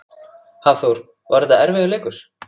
Hafþór: Var þetta erfiður leikur?